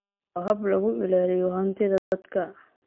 Waa hab lagu ilaaliyo hantida dadka.